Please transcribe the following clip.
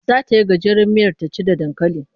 Za ta yi gajeriyar miyar ta ci da dankali.